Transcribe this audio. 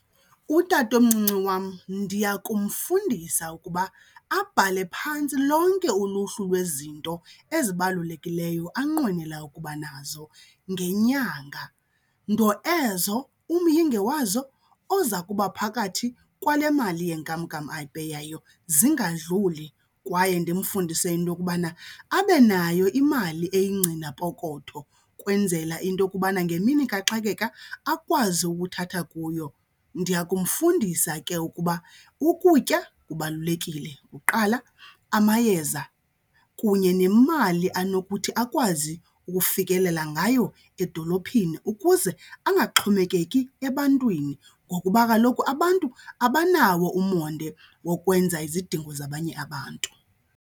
Utatomncinci wam ndiya kumfundisa ukuba abhale phantsi lonke uluhlu lwezinto ezibalulekileyo anqwenela ukuba nazo ngenyanga, nto ezo umyinge wazo oza kuba phakathi kwale mali yenkamnkam ayipeyayo zingadluli. Kwaye ndimfundise into yokubana abe nayo imali eyingcinapokoto kwenzela into okubana ngemini kaxakeka akwazi ukuthatha kuyo. Ndiya kumfundisa ke ukuba ukutya kubalulekile kuqala, amayeza kunye nemali anokuthi akwazi ukufikelela ngayo edolophini ukuze angaxhomekeki ebantwini. Ngokuba kaloku abantu abanawo umonde wokwenza izidingo zabanye abantu.